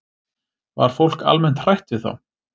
Var fólk almennt hrætt við þá?